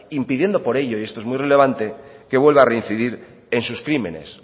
impidiendo por ello y esto es muy relevante que vuelva a reincidir en sus crímenes